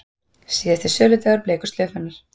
Síðasti söludagur bleiku slaufunnar